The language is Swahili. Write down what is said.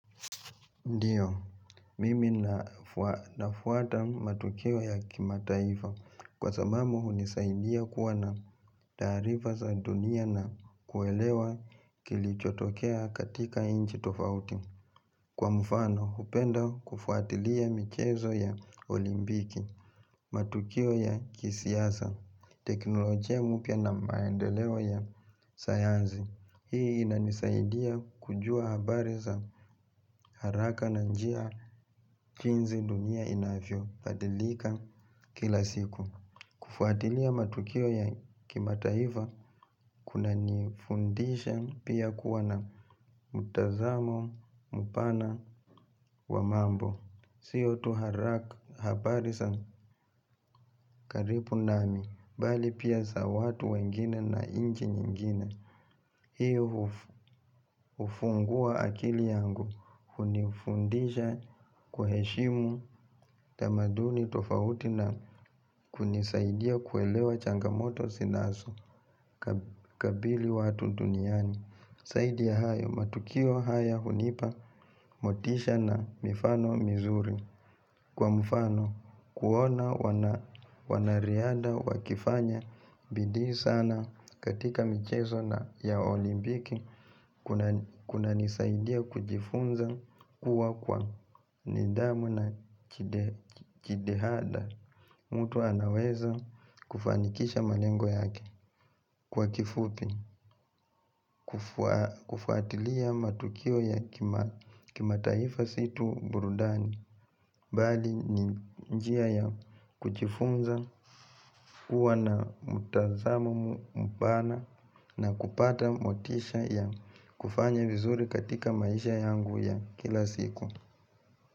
Ndiyo, mimi nafuata matukio ya kimataifa kwa sababuu hunisaidia kuwa na taarifa za dunia na kuelewa kilichotokea katika nchi tofauti. Kwa mfano, hupenda kufuatilia michezo ya olimpiki, matukio ya kisiasa, teknolojia mpya na maendeleo ya sayansi. Hii inanisaidia kujua habari za haraka na njia jinsi dunia inavyobadilika kila siku. Kufuatilia matukio ya kimataifa kuna nifundisha pia kuwa na mtazamo mpana wa mambo. Sio tu haraka habari za karibu nami, mbali pia za watu wengine na nchi nyingine. Hiyo hufungua akili yangu hunifundisha kuheshimu tamaduni tofauti na kunisaidia kuelewa changamoto zinazo kabili watu duniani. Zaidi ya hayo matukio haya hunipa motisha na mifano mizuri. Kwa mfano kuona wanariadha wakifanya bidii sana katika michezo na ya olimpiki kunanisaidia kujifunza kuwa kwa nidhamu na kidehada. Mtu anaweza kufanikisha malengo yake kwa kifupi, kufuatilia matukio ya kimataifa si tu burudani, mbali ni njia ya kujifunza kuwa na mtazamo mpana na kupata motisha ya kufanya vizuri katika maisha yangu ya kila siku.